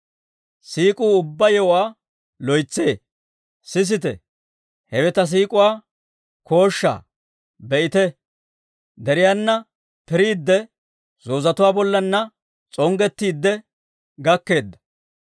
Sisite, hewe ta siik'uwaa kooshshaa! Be'ite deriyaana piriidde, zoozetuwaa bollaanna s'onggettiidde gakkeedda!